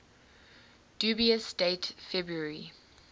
dubious date february